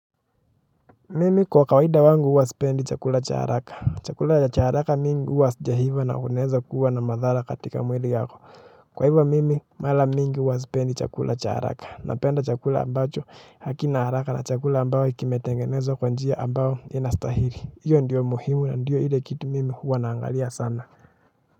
Mimi kwa kawaida wangu huwa sipendi cha haraka chakula cha haraka mengi huwa hazijaiva na unaweza kuwa na madhara katika mwili yako kwa hivyo mimi mara mingi huwa sipendi chakula cha haraka napenda chakula ambacho hakina haraka na chakula ambacho kimetengenezwa kwa njia ambacho inastahili iwe ndiyo muhimu ndiyo ile kitu mimi huwa naangalia sana.